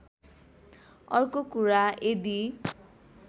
अर्को कुरा यदि